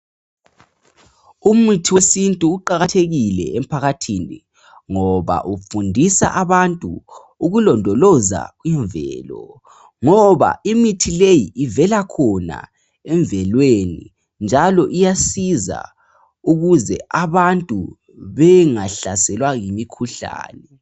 Umuthi wesintu uqakathekile emphakathini ngoba ufundisa abantu ukulondoloza imvelo, ngoba imithi leyi, ivela khona emvelweni, njalo iyasiza ukuze abantu bengahlaselwa yimikhuhlane.